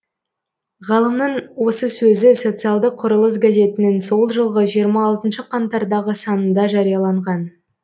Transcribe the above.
ғалымның осы сөзі социалдық құрылыс газетінің сол жылғы жиырма алтыншы қаңтардағы санында жарияланған